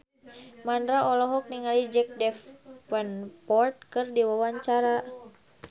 Mandra olohok ningali Jack Davenport keur diwawancara